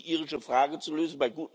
Da ist nur die irische Frage zu lösen.